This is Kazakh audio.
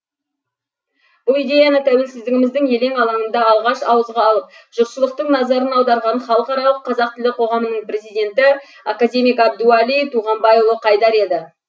бұл идеяны тәуелсіздігіміздің елең алаңында алғаш ауызға алып жұртшылықтың назарын аударған халықаралық қазақ тілі қоғамының президенті академик әбдуали туғанбайұлы қайдар еді